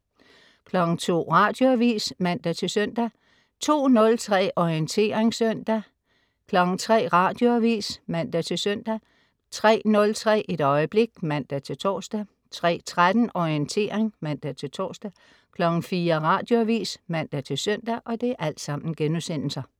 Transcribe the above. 02.00 Radioavis (man-søn) 02.03 Orientering søndag* 03.00 Radioavis (man-søn) 03.03 Et øjeblik* (man-tors) 03.13 Orientering* (man-tors) 04.00 Radioavis (man-søn)